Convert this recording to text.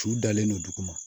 Su dalen don dugu ma